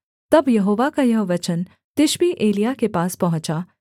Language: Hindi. तब यहोवा का यह वचन तिशबी एलिय्याह के पास पहुँचा